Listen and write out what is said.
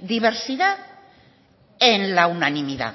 diversidad en la unanimidad